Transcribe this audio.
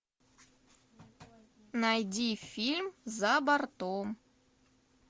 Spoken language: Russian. найди фильм за бортом